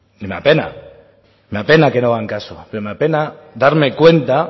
me apena me apena que no hagan caso pero me apena darme cuenta